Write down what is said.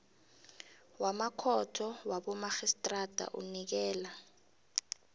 wamakhotho wabomarhistrada unikela